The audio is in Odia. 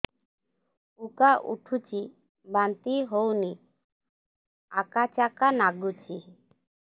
ଉକା ଉଠୁଚି ବାନ୍ତି ହଉନି ଆକାଚାକା ନାଗୁଚି